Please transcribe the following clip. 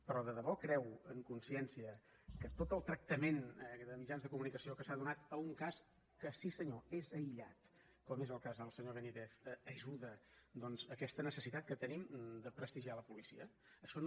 però de debò creu a consciència que tot el tractament de mitjans de comunicació que s’ha donat a un cas que sí senyor és aïllat com és el cas del senyor benítez ajuda doncs a aquesta necessitat que tenim de prestigiar la policia això no